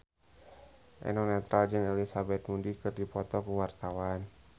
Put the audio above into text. Eno Netral jeung Elizabeth Moody keur dipoto ku wartawan